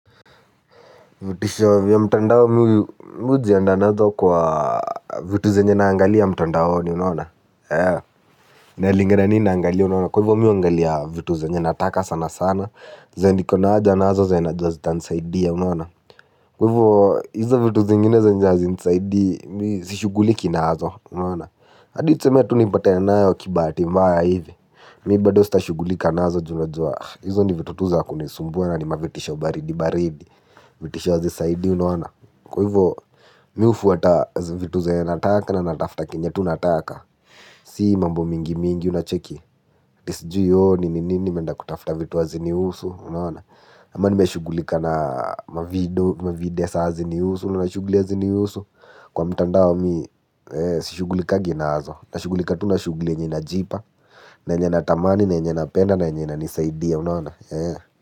Vitisho vya mtandao mimi hujiandaa nazo kwa vitu zenye naangalia mtandaoni unaoana? Inalingana nini naangalia unaona? Kwa hivyo mimi huangalia vitu zenye nataka sana sana. Zenye niko na haja nazo zenye najua zitanisaidia unaona? Kwa hivyo hizo vitu zingine zenye hazinisaidii mimi sishughuliki nazo unaona? Hadi tuseme tu nipatane nayo kibahati mbaya hivi. Mimi bado sitashughulika nazo juu najua hizo ni vitu tu za kunisumbua na ni mavitisho baridi baridi vitisho hazisaidii unaona kwa hivyo mimi hufuata vitu zenye nataka na natafuta kenye tu nataka. Si mambo mingi mingi unacheki aty sijui ooh nini nini nimeenda kutafuta vitu hazinihusu unaona. Ama nimeshugulika na mavideo hazinihusu unaona shughuli hazinihusu. Kwa mitandao mi sishugulikangi nazo. Nashughulika tu na shughuli yenye inajipa. Na yenye natamani na yenye napenda na yenye inanisaidia unaona.